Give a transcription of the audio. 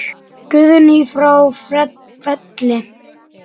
Guðný frá Felli.